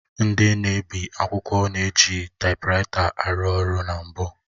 Ndị na-ebi akwụkwọ na-eji taịpuraịta arụ ọrụ na mbụ